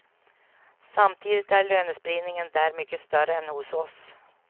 Samtidigt är lönespridningen där mycket större än hos oss.